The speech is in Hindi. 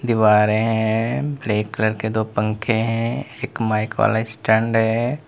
दीवारें है ब्लैक कलर के दो पंखे है एक माइक वाला स्टैंड है।